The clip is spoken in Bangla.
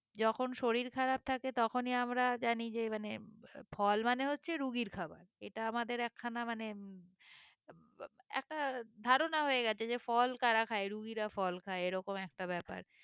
যখন শরীর খারাপ থাকে তখনি আমরা জানি যে মানে ফল মানে হচ্ছে রুগীর খাবার এটা আমাদের এক খানা মানে একটা ধারণা হয়ে গেছে যে ফল কারা খায় রুগীরা ফল খায় এরকম একটা ব্যাপার